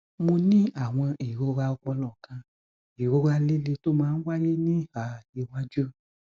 mo ní àwọn ìrora ọpọlọ kan ìrora líle tó máa ń wáyé ní ìhà iwájú